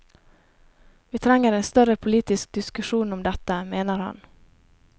Vi trenger en større politisk diskusjon om dette, mener han.